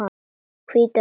Hvíta húsið.